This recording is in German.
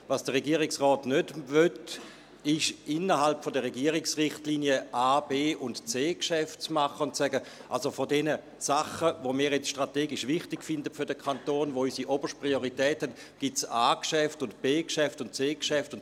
Was der Regierungsrat nicht will, ist, innerhalb der Regierungsrichtlinien A, B- und C-Geschäfte zu machen und zu sagen: «Also, von diesen Sachen, die wir jetzt strategisch wichtig finden für den Kanton, die für uns oberste Priorität haben, gibt es A-Geschäfte und BGeschäfte und C-Geschäfte.